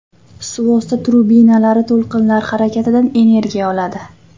Suvosti trubinalari to‘lqinlar harakatidan energiya oladi.